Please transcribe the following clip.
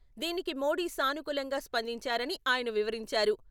దీనికి మోడీ సానుకూలంగా స్పందించారని ఆయన వివరించారు.